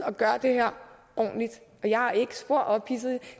og gør her det ordentligt og jeg er ikke spor ophidset